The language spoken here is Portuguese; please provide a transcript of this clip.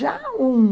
Já um...